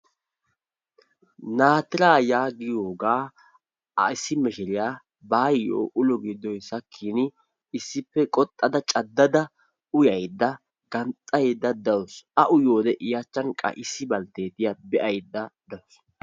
Naatiraa yaagiyooga issi mishiriyaa baayyo ulo giddoy sakkin issippe qoxxada cadadda uyayda ganxxaydda dawus. A uyyiyoode qa I achchan issi balttettiya be'aydda dawus.